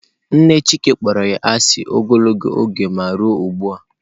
Nne chike kpọrọ ya asị ogologo oge ma ruo ụgbua.